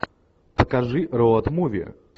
покажи роад муви